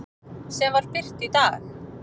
sem birt var í dag.